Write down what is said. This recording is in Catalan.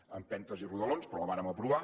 a empentes i rodolons però la vàrem aprovar